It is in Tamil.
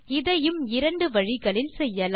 இதையும் இரண்டு வழிகளில் செய்யலாம்